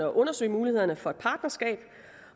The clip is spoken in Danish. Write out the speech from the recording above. undersøge mulighederne for et partnerskab